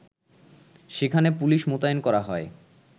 সেখানে পুলিশ মোতায়েন করা হয়